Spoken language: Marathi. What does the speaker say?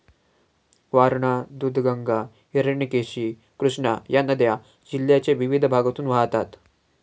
वारणा, दुधगंगा, हिरण्यकेशी, कृष्णा या नद्या जिल्ह्याच्या विविध भागातून वाहतात.